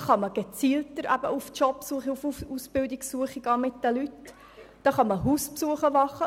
Dann können sie gezielter mit den Leuten auf Arbeits- oder Ausbildungssuche gehen oder auch Hausbesuche machen.